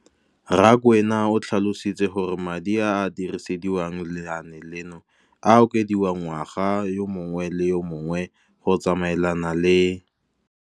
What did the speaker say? Rakwena o tlhalositse gore madi a a dirisediwang lenaane leno a okediwa ngwaga yo mongwe le yo mongwe go tsamaelana le.